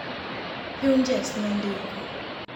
Hughes nondiko